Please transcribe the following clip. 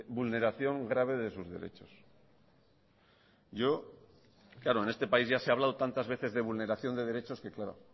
vulneración grave de sus derechos yo claro en este país ya se ha hablado tantas veces de vulneración de derechos que claro